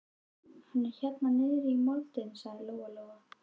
Hann er hérna niðri í moldinni, sagði Lóa-Lóa.